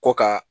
Ko ka